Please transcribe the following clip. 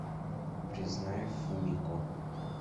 признание фумико